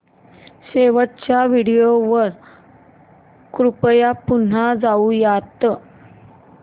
शेवटच्या व्हिडिओ वर कृपया पुन्हा जाऊयात